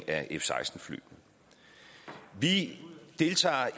af f seksten fly vi deltager